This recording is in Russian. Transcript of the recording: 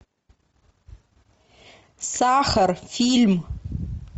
сахар фильм